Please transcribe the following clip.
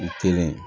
U kelen